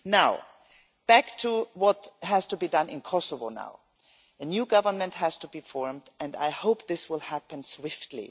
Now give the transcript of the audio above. Turning back to what now has to be done in Kosovo, a new government has to be formed, and I hope this will happen swiftly.